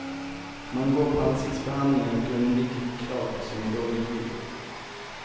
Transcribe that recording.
Man går på ansiktsbehandlingar och undviker choklad, som ger dålig hy.